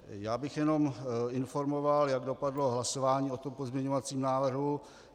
Já bych jenom informoval, jak dopadlo hlasování o tom pozměňovacím návrhu.